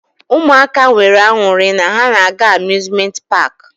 Ụmụaka nwere aṅụrị na ha na-aga amuzment paki.